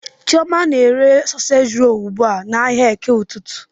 Chioma na-ere soseji rolu ugbu a n'ahịa eke ụtụtụ.